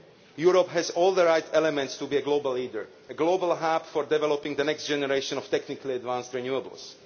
Europe has all the right elements to be a global leader, a global hearth for developing the next generation of technically advanced renewables.